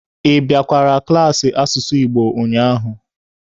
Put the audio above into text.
Ị bịakwara klaasị asụsụ Igbo ụnyaahụ?